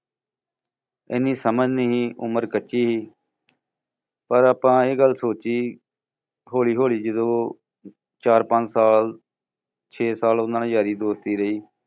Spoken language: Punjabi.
ਇੰਨੀ ਸਮਝ ਨਹੀਂ ਉਮਰ ਕੱਚੀ ਸੀ ਪਰ ਆਪਾਂ ਇਹ ਗੱਲ ਸੋਚੀ ਹੌਲੀ ਹੌਲੀ ਜਦੋਂ ਚਾਰ ਪੰਜ ਸਾਲ, ਛੇ ਸਾਲ ਉਹਨਾਂ ਨਾਲ ਯਾਰੀ ਦੋਸਤੀ ਰਹੀ।